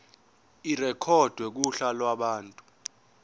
irekhodwe kuhla lwabantu